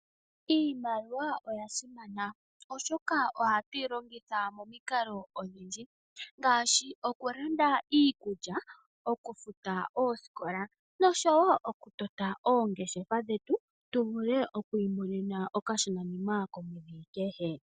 Iimaliwa oya simana oshoka ohatu yi longitha momikalo odhindji, ngaashi okulanda iikulya, okufuta oosikola noshowo okutota oongeshefa dhetu tu vule okwiimonena okashonanima komweedhi kehe.